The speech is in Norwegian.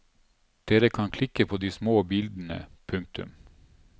Dere kan klikke på de små bildene. punktum